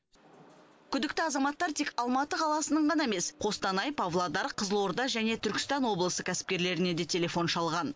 күдікті азаматтар тек алматы қаласының ғана емес қостанай павлодар қызылорда және түркістан облысы кәсіпкерлеріне де телефон шалған